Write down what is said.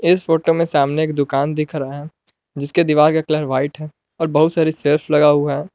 इस फोटो मे सामने एक दुकान दिख रहा है जिसके दीवार का कलर वाइट है और बहुत सारी सेल्फ लगा हुआ है।